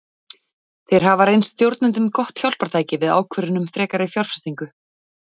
Þeir hafa reynst stjórnendum gott hjálpartæki við ákvörðun um frekari fjárfestingu.